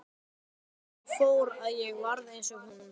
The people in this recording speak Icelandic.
En svo fór að ég varð eins og hún.